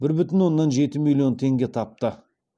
бір бүтін оннан жеті миллион теңге тапты